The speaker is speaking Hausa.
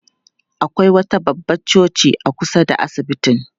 Akwai wata babbar coci a kusa da asibitin.